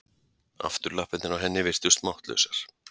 Afturlappirnar á henni virtust máttlausar.